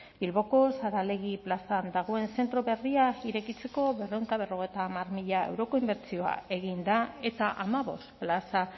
bilboko saralegi plazan dagoen zentro berria irekitzeko berrehun eta berrogeita hamar mila euroko inbertsioa egin da eta hamabost plaza